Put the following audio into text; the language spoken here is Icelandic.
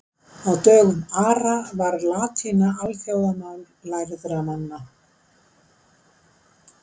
á dögum ara var latína alþjóðamál lærðra manna